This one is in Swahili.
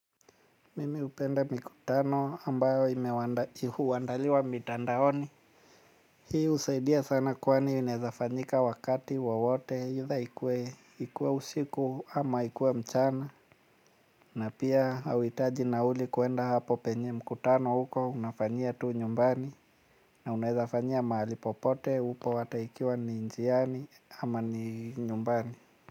Mimi hupenda mkutano ambayo huandaliwa mitandaoni hii husaidia sana kwani inaezafanyika wakati wawote either ikuwe usiku ama ikuwe mchana na pia hauhitaji nauli kwenda hapo penye mkutano uko unafanyia tu nyumbani na unaweza fanyia mahali popote upo hata ikiwa ni njiani ama ikiwa ni nyumbani.